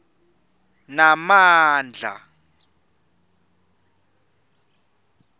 namandla